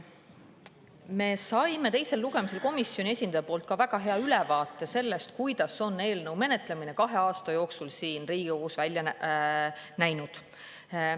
Me saime teisel lugemisel komisjoni esindaja poolt ka väga hea ülevaate sellest, kuidas on eelnõu menetlemine kahe aasta jooksul siin Riigikogus välja näinud.